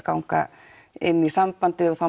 ganga inn í sambandið og þá